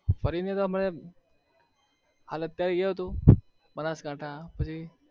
ફરી ને તો અમે હાલ એ હતું બનાસકાંઠા પછી